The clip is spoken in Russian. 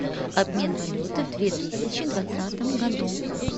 обмен валюты в две тысячи двадцатом году